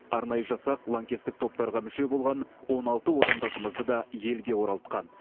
арнайы жасақ лаңкестік топтарға мүше болған он алты отандасымызды да елге оралтқан